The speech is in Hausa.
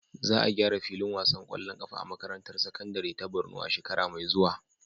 Za a gyara filin wasan ƙwallon ƙafa a makarantar sakandare ta Borno a shekara mai zuwa.